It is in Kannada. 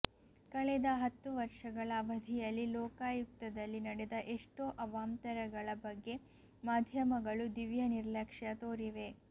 ಕಳೆದ ಹತ್ತು ವರ್ಷಗಳ ಅವಧಿಯಲ್ಲಿ ಲೋಕಾಯುಕ್ತದಲ್ಲಿ ನಡೆದ ಎಷ್ಟೋ ಅವಾಂತರಗಳ ಬಗ್ಗೆ ಮಾಧ್ಯಮಗಳು ದಿವ್ಯ ನಿರ್ಲಕ್ಷ್ಯ ತೋರಿವೆ